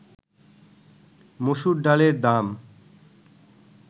মসুর ডালের দাম